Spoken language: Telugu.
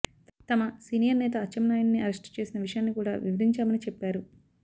తమ సీనియర్ నేత అచ్చెన్నాయుడుని అరెస్ట్ చేసిన విషయాన్ని కూడా వివరించామని చెప్పారు